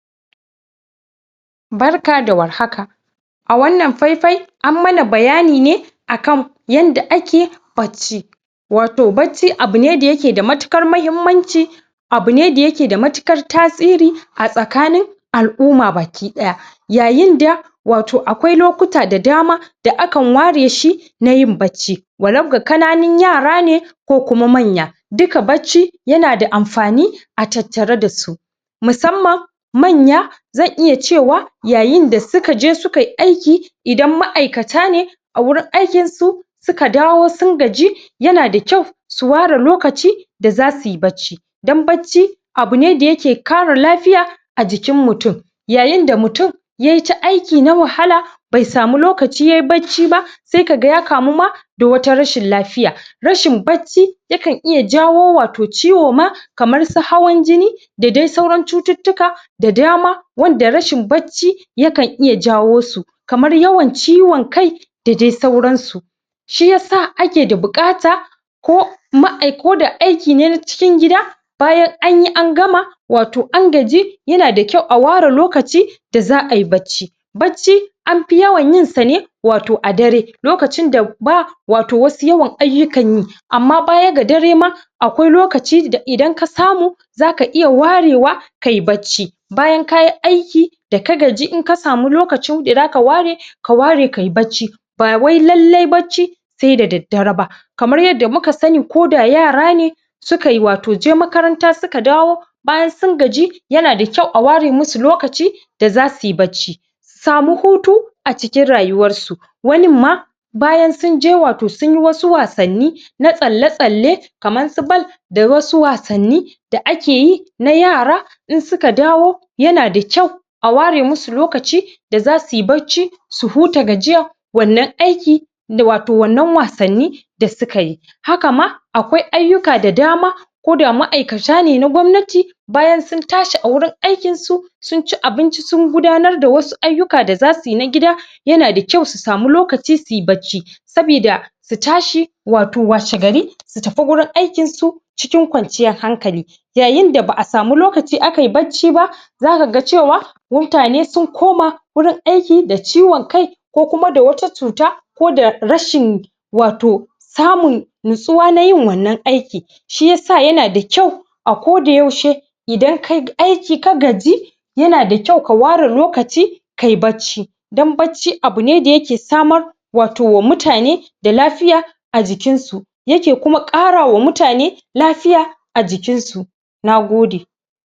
Barka da warhaka a wannan faifai ammana bayanine akan yanda ake bacci wato bacci abune da yake da matuƙar mahimmanci abune da yake da matuƙar tasiri a tsakanin al'umma baki ɗaya yayin da wato akwai lokutan da dama da akan ware shi nayin bacci walau ga ƙananun yara ne ko kuma manya duka bacci yana da amfani atattare dasu musamman manya zan iya cewa yayin da sukaje sukai aiki idan ma aikatane awurin aikinsu suka dawo sun gaji yana da kyau su ware lokaci da zasuyi bacci dan bacci abune da yake kare lafiya ajikin mutun yayin da mutun yayita aiki na wahala be samu lokaci yayi bacci ba se kaga ya kamu ma da wata rashin lafiya rashin bacci yakan iya jawo wato ciwo ma kaman su hawan jini da dai sauran cututtuka da dama wanda rashin bacci yakan iya jawo su kamar yawan ciwon kai da dai sauran su shi yasa ake da buƙata ko koda aiki ne na cikin gida bayan anyi angama wato an gaji yana da kyau a ware lokaci da za ayi bacci bacci anfi yawan yinsane wato adare lokacin da ba wato wasu yawan aiyukan yi amma baya ga dare ma akwai lokacin da idan kasamu zaka iya warewa kai bacci bayan kayi aiki da ka gaji in kasama lokacin da zaka ware ka ware kai bacci ba wai lailai bacci se da daddare ba kamar yadda muka sani koda yara ne sukai wato je makaranta suka dawo bayan sun gaji yana da kyau aware musu lokaci da zasuyi bacci samu hutu acikin rayuwarsu wanin ma bayan sunje watan suyin wani wasanni na tsalle tsalle kaman su bal da wasu wasanni da akeyi na yara in suka dawo yanada kyau aware musu lokaci da zasuyi bacci su huta gajiya wannan aiki wato wannan wasanni da sukayi haka ma akwai aiyuka da dama koda ma aikata ne na gobnati bayan sun tashi agurin aikinsu sunci abinci sungudanar da wasu ayuka da zasuyi na gida yana da kyau su sama lokaci suyi bacci sabida su tashi wato washe gari su tafi gurin aikin su cikin kwanciyan hankali yayinda ba asamu lokaci akai bacci ba zakaga cewa mutane sun koma gurin aiki da ciwan kai ko kuma da wata cuta koda rashin wato samun natsuwa nayin wannan aiki shi yasa yana da kyau ako da yaushe idan kayi aiki ka gaji yana da kyau ka ware lokaci kayi bacci dam bacci abune da yake samar wato wa mutane da lafiya ajikinsu yake kuma ƙarawa mutane lafiya ajikinsu nagode